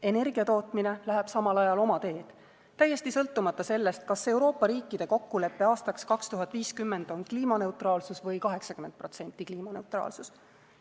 Energiatootmine läheb samal ajal oma teed, täiesti sõltumata sellest, kas Euroopa riikide kokkulepe aastaks 2050 on kliimaneutraalsus või 80% kliimaneutraalsus.